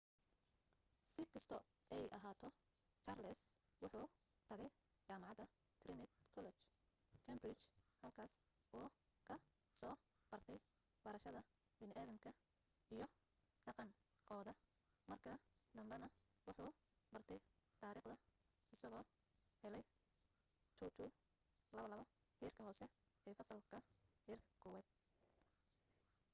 si kasto ay ahaato charles wuxuu tagay jamacada trinity college cambridge halkaas uu ka soo bartay barashada bini’adamka iyo dhaqan kooda marka dambena wuxu bartay tariikhda isago heley 2:2 heerka hoose ee fasalka heerka kuwaaad